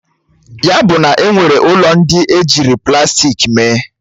Ya buna enwere ụlọ ndị ejiri plastik mee?